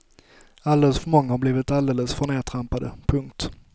Alldeles för många har blivit alldeles för nedtrampade. punkt